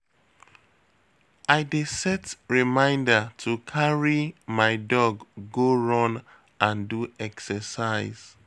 I dey set reminder to carry my dog go run and do exercise.